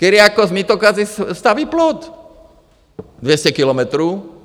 Kyriakos Mitsotakis staví plot, 200 kilometrů.